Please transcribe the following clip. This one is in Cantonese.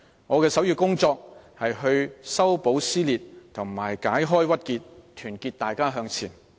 我的首要工作是修補撕裂和解開鬱結，團結大家向前。